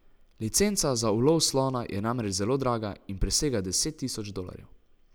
Licenca za ulov slona je namreč zelo draga in presega deset tisoč dolarjev.